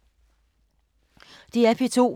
DR P2